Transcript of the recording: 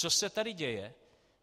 Co se tady děje?